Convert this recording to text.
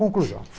Conclusão.